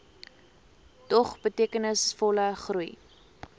dog betekenisvolle groei